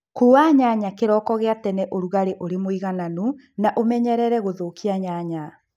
Kua nyanya kĩroko gia tene ũrugali ũri mũigananu na ũmenyerere gũthũkia nyanya